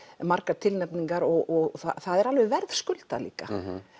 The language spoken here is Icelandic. margar tilnefningar og það er alveg verðskuldað líka